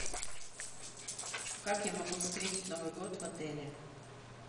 как я могу встретить новый год в отеле